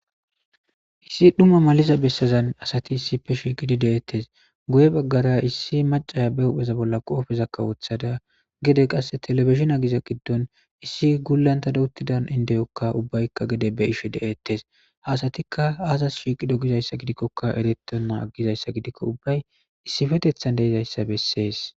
issi dhumma maliza bessazan asati issife shiiqidi deettes guye baggara issi macaya be hupheza bolla qoofeza kawothada gede qasse telefishin agiza giddon issi gullanta dawuttidan indeyokka ubbaykka gede be ishe de7eettes hasatikka aazas shiiqido gizayssa gidikkoka eretona gizayssa gidikko ubbay issifetethan deizayssa bessees